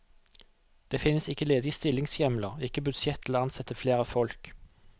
Det finnes ikke ledige stillingshjemler, ikke budsjett til å ansette flere folk.